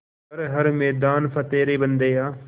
कर हर मैदान फ़तेह रे बंदेया